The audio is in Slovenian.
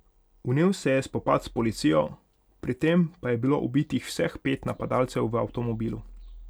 Vnel se je spopad s policijo, pri tem pa je bilo ubitih vseh pet napadalcev v avtomobilu.